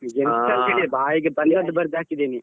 ಎಂಥ ಅಂತ ಇಲ್ಲ ಬಾಯಿಗೆ ಬಂದದ್ದು ಬರ್ದು ಹಾಕಿದ್ದೇನೆ.